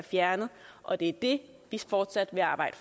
fjernet og det er det vi fortsat vil arbejde